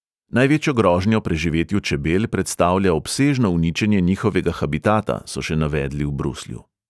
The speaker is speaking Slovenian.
Največjo grožnjo preživetju čebel predstavlja obsežno uničenje njihovega habitata, so še navedli v bruslju.